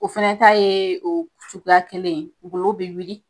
O fɛnɛ ta ye o suguya kelen ye, golo be wuli.